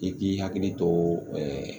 I k'i hakili to ɛɛ